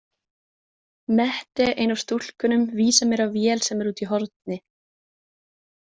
Mette, ein af stúlkunum, vísar mér á vél sem er úti í horni.